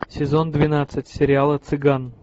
сезон двенадцать сериала цыган